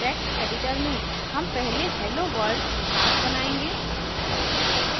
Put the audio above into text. text editor में हम पहले helloworld class बनाएंगे